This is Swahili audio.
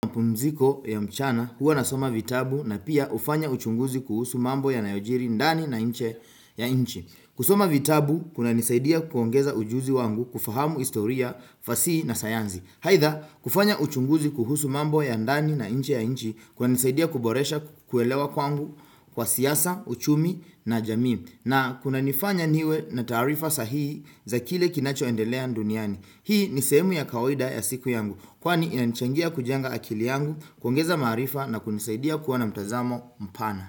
Pumziko ya mchana huwa nasoma vitabu na pia ufanya uchunguzi kuhusu mambo yanayojiri ndani na inje ya inchi. Kusoma vitabu kunanisaidia kuongeza ujuzi wangu kufahamu historia, fasihi na sayanzi. Haidha, kufanya uchunguzi kuhusu mambo ya ndani na inje ya inchi kunanisaidia kuboresha kuelewa kwangu kwa siyasa, uchumi na jamii. Na kunanifanya niwe na taarifa sahihi za kile kinachoendelea nduniani. Hii ni sehemu ya kawaida ya siku yangu, kwani inanchangia kujenga akili yangu, kuongeza maarifa na kunisaidia kuwa na mtazamo mpana.